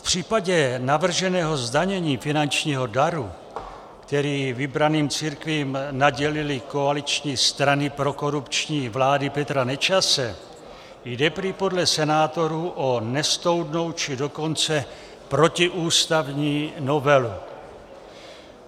V případě navrženého zdanění finančního daru, který vybraným církvím nadělily koaliční strany prokorupční vlády Petra Nečase, jde prý podle senátorů o nesoudnou, či dokonce protiústavní novelu.